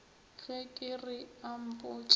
ge ke re a mpotše